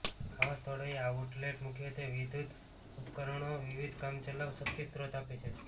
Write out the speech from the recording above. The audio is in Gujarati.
આવા સ્થળોએ આઉટલેટ મુખ્યત્વે વિદ્યુત ઉપકરણો વિવિધ કામચલાઉ શક્તિ સ્ત્રોત આપે છે